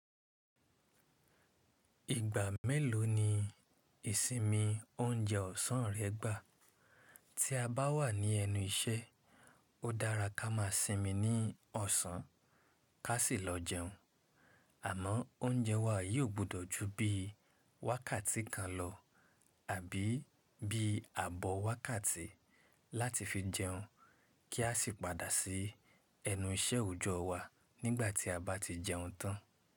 Ìgbà mélòó ni ìsinmi oúnjẹ ọ̀sán rẹ gbà? Tí a bá wà ní ẹnu iṣẹ́, ó dára ká má sinmi ní ọ̀sán, ká sì lọ jẹun. Àmọ́ oúnjẹ wa yìí ó gbọ́dọ̀ ju bí wákàtí kan lọ àbí bí ààbọ̀ wákàtí láti fi jẹun kí a sì padà sí ẹnu iṣẹ́ òòjọ́ wa nígbà tí a bá ti jẹun tán.